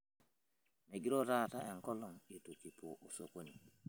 megiroo taata enkolong' eitu kipuo sokoni